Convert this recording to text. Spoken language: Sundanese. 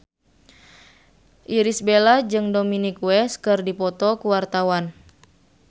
Irish Bella jeung Dominic West keur dipoto ku wartawan